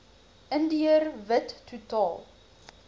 indiër wit totaal